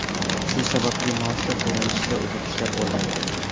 Shu sababli maoshlar to‘lanishida uzilishlar bo‘lmoqda.